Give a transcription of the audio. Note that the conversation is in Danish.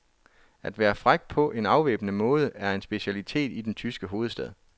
At være fræk på en afvæbnende måde er en specialitet i den tyske hovedstad.